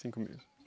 Cinco meninos.